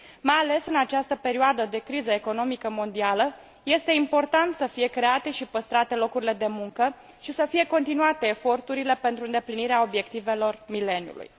Mai ales în această perioadă de criză economică mondială, este important să fie create și păstrate locurile de muncă și să fie continuate eforturile pentru îndeplinirea obiectivelor mileniului.